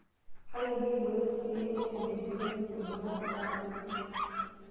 Kake keibooyo ilkeek le antibiotics ilbulabul aasioki.